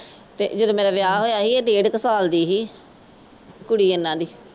ਤੇ ਜਦੋਂ ਮੇਰਾ ਵਿਆਹ ਹੋਇਆ ਸੀ ਇਹ ਡੇਢ ਕੁ ਸਾਲ ਦੀ ਸੀ ਕੁੜੀ ਇਨ੍ਹਾਂ ਦੀ।